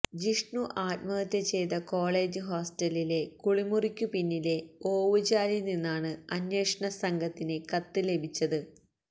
ജിഷ്ണു ആത്മഹത്യ ചെയ്ത കോളജ് ഹോസ്റ്റലിലെ കുളിമുറിക്കു പിന്നിലെ ഓവുചാലില്നിന്നാണ് അന്വേഷണസംഘത്തിന് കത്ത്് ലഭിച്ചത്